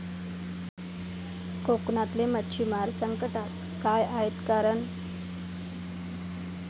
कोकणातले मच्छिमार संकटात, काय आहेत कारणं?